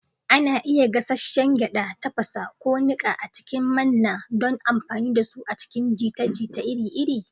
Ana iya gasasshen gyada, tafasa, ko niƙa a cikin manna don amfani da su a cikin jita-jita iri-iri.